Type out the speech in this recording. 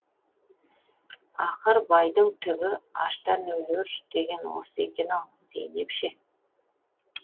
ақыр байдың түбі аштан өлер деген осы екен ау зейнеп ше